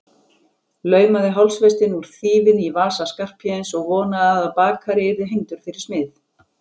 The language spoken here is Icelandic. Laumaði hálsfestinni úr þýfinu í vasa Skarphéðins og vonaði að bakari yrði hengdur fyrir smið.